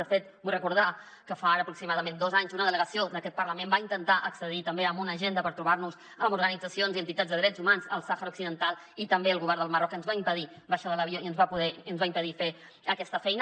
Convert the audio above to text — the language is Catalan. de fet vull recordar que fa ara aproximadament dos anys una delegació d’aquest parlament va intentar accedir també a una agenda per trobar nos amb organitzacions i entitats de drets humans al sàhara occidental i també el govern del marroc ens va impedir baixar de l’avió i ens va impedir fer aquesta feina